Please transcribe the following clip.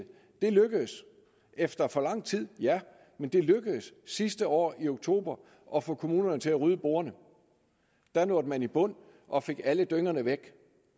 det lykkedes efter for lang tid ja men det lykkedes sidste år i oktober at få kommunerne til at rydde bordene da nåede man i bund og fik alle dyngerne væk